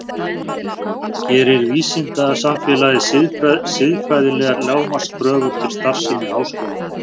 Gerir vísindasamfélagið siðfræðilegar lágmarkskröfur til starfsemi háskóla?